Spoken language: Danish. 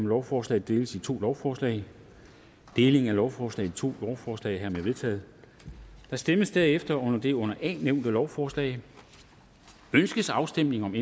lovforslaget deles i to lovforslag deling af lovforslaget i to lovforslag er hermed vedtaget der stemmes derefter om det under a nævnte lovforslag ønskes afstemning om